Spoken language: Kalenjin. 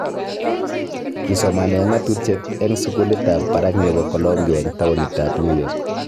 Kii somanee ng'atutiet eng sukulit ab barak nebo Colombia eng taunit ab New York